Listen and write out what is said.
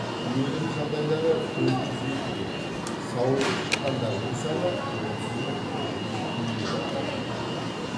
өлім жағдайлары төрт жүз елу төрт сауығып шыққандардың саны отыз мың тоғыз жүз елу алты адам екен